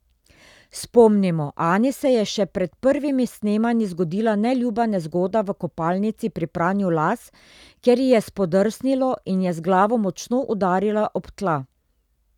Spomnimo, Ani se je še pred prvimi snemanji zgodila neljuba nezgoda v kopalnici pri pranju las, kjer ji je spodrsnilo in je z glavo močno udarila ob tla.